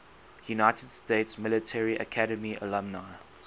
united states military academy alumni